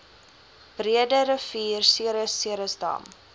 breederivier ceres ceresdam